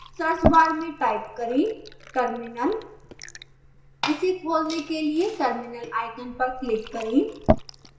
search bar में type करें terminal इसे खोलने के लिए terminal आइकन पर क्लिक करें